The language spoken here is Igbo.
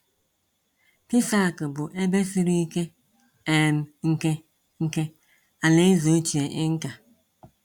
Pisac bụ ebe siri ike um nke nke Alaeze ochie Inca.